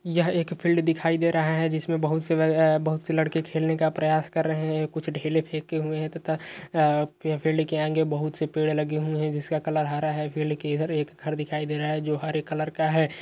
यह एक फील्ड दिखाई दे रहा है जिसमे बहुत से अ बहुत से लड़के खेलने का प्रयास कर रहै है कुछ ढेले फेंके हुए है तथा फील्ड के आगे बहुत से पेड़ लगे हुए है जिसका कलर हरा है फील्ड के इधर एक घर दिखाई दे रहा है जो हरे कलर का है।